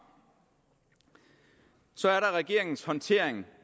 så er der regeringens håndtering